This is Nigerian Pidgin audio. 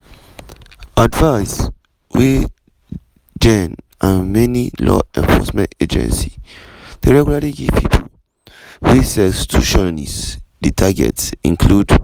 advice wey jenn and many law-enforcement agencies deyregularly givepipo wey sextortionists dey target include: